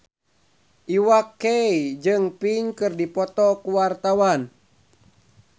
Iwa K jeung Pink keur dipoto ku wartawan